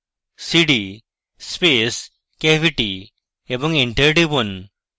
cd space cavity এবং enter টিপুন